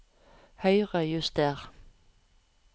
Høyrejuster